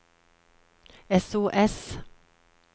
sos